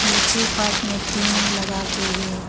पीछे पार्ट में पिंग लगाके है।